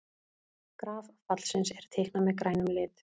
Graf fallsins er teiknað með grænum lit.